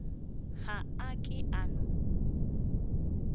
ga a ke a no